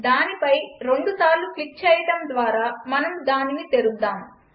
దానిపై రెండుసార్లు క్లిక్ చేయడం ద్వారా మనం దానిని తెరుద్దాం